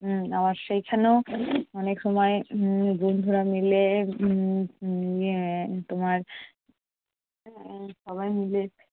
উম আবার সেই খানেও অনেক সময় উম বন্ধুরা মিলে উম উম এর তোমার এর সবাই মিলে